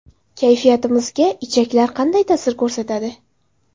Kayfiyatimizga ichaklar qanday ta’sir ko‘rsatadi?.